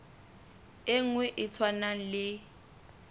e nngwe e tshwanang le